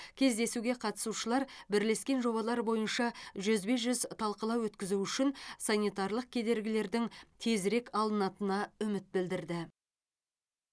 кездесуге қатысушылар бірлескен жобалар бойынша жүзбе жүз талқылау өткізу үшін санитарлық кедергілердің тезірек алынатынына үміт білдірді